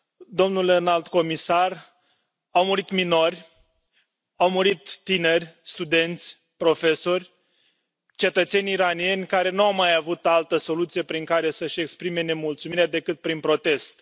Domnule Înalt Comisar, au murit minori, au murit tineri, studenți, profesori, cetățeni iranieni care nu au mai avut altă soluție prin care să își exprime nemulțumirea, decât prin protest.